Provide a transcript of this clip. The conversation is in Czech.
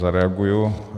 Zareaguji.